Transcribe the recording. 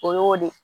O y'o de